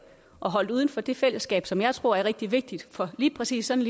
og holdt uden for det fællesskab som jeg tror er rigtig vigtigt for lige præcis sådan